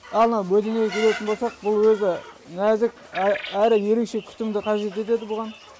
ал мына бөдене келетін болсақ бұл өзі нәзік әрі ерекше күтімді қажет етеді бұған